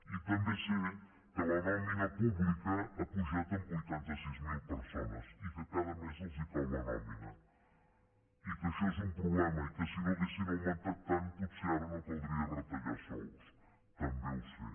i també sé que la nòmina pública ha pujat en vuitanta sis mil persones i que cada mes els cau la nòmina i que això és un problema i que si no haguessin augmentat tant potser ara no caldria retallar sous també ho sé